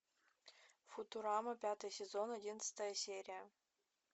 футурама пятый сезон одиннадцатая серия